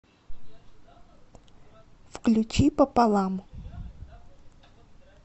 включи пополам